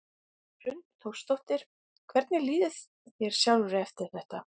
Hrund Þórsdóttir: Hvernig líður þér sjálfri eftir þetta?